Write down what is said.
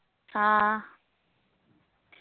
ഹാ